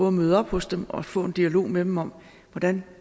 at møde op hos dem og få en dialog med dem om hvordan